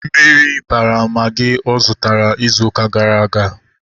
Mmiri bara magị ọ zụtara ịzụ ụka gara aga